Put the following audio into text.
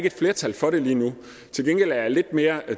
et flertal for det lige nu til gengæld er jeg lidt mere